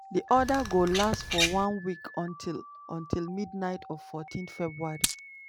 di order go last for one week until until midnight of 14 february.